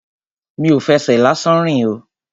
Mi ò fẹsẹ̀ lásán rìn o.